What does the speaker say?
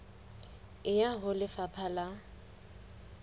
e ya ho lefapha la